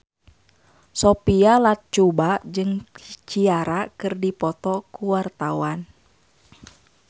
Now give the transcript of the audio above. Sophia Latjuba jeung Ciara keur dipoto ku wartawan